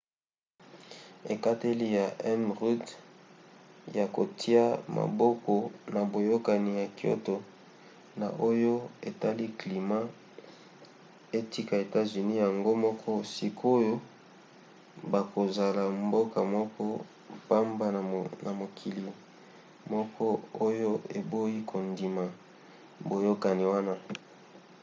ekateli ya m. rudd ya kotia maboko na boyokani ya kyoto na oyo etali climat etika etats-unis yango moko; sikoyo bakozala mboka moko pamba na mokili moko oyo eboyi kondima boyokani wana